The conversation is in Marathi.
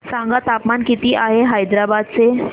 सांगा तापमान किती आहे हैदराबाद चे